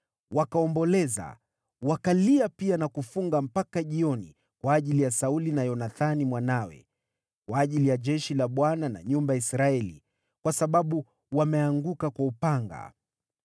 Wakaomboleza, wakalia pia na kufunga mpaka jioni kwa ajili ya Sauli na Yonathani mwanawe, kwa ajili ya jeshi la Bwana na nyumba ya Israeli, kwa sababu wameanguka kwa upanga.